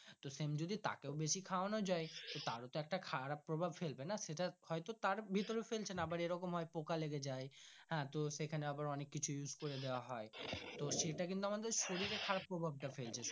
তো sem যদি তাকেও বেশি খাওয়ানো যাই তার ও তো একটা খারাপ প্রভাব ফেলবে না সেটাও হয় তো দাঁড় ভিতর এ ফেলছে না আবার এরকম হয় তো পোকা লাগে যাই হ্যাঁ তো সেখানে আয়ের অনেক কিছু use করে দেওয়া হয় সেটা কিন্তু আমাদের শরিরীরএর খারাপ প্রভাব টা ফেলছে।